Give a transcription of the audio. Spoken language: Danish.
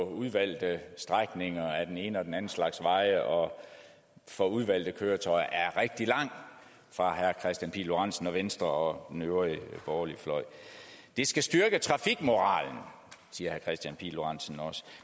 udvalgte strækninger af den ene og den anden slags veje og for udvalgte køretøjer er rigtig lang fra herre kristian pihl lorentzen og venstre og den øvrige borgerlige fløj det skal styrke trafikmoralen siger herre kristian pihl lorentzen også